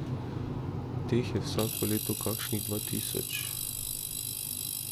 Teh je vsako leto kakšnih dva tisoč.